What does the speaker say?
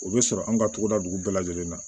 O bɛ sɔrɔ an ka togoda dugu bɛɛ lajɛlen na